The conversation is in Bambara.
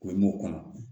O ye m'o kɔnɔ